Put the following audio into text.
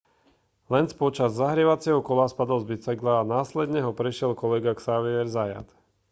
lenz počas zahrievacieho kola spadol z bicykla a následne ho prešiel kolega xavier zayat